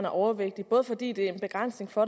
overvægtige både fordi det er en begrænsning for